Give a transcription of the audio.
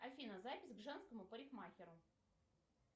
афина запись к женскому парикмахеру